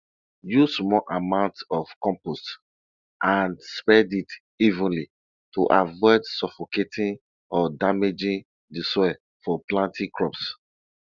use small amounts of compost and spread it evenly to avoid suffocating or damaging the soil for planting crops